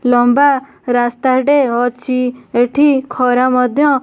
ଲମ୍ବା ରାସ୍ତାଟେ ଅଛି ଏଠି ଖରା ମଧ୍ୟ --